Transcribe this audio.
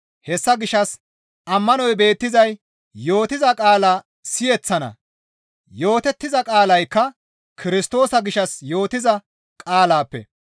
Hessa gishshas ammanoy beettizay yootiza qaala siyeththana; yootettiza qaalaykka Kirstoosa gishshas yootiza qaalaappe.